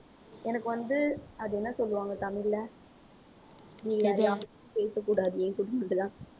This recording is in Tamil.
எனக்கு வந்து அது என்ன சொல்லுவாங்க தமிழ்ல பேசக்கூடாது என்கூட மட்டும்தான்